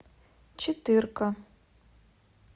четырка